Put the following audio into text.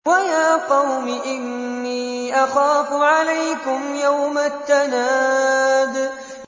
وَيَا قَوْمِ إِنِّي أَخَافُ عَلَيْكُمْ يَوْمَ التَّنَادِ